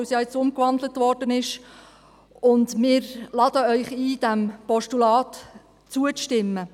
Wir laden Sie ein, diesem Postulat zuzustimmen.